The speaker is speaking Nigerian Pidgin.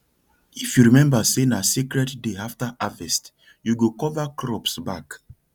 if you remember say na sacred day after harvest you go cover crops back